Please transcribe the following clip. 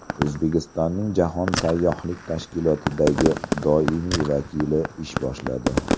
O‘zbekistonning Jahon sayyohlik tashkilotidagi doimiy vakili ish boshladi.